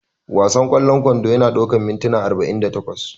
Wasan ƙwallon kwando yana ɗaukar mintuna arba'in da takwas